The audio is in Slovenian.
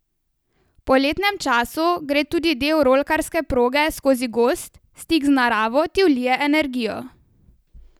V poletnem času gre tudi del rolkarske proge skozi gozd, stik z naravo ti vlije energijo.